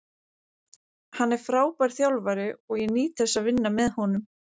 Hann er frábær þjálfari og ég nýt þess að vinna með honum.